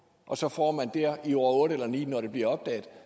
og så får man der i år otte eller ni når det bliver opdaget